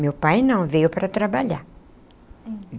Meu pai não, veio para trabalhar.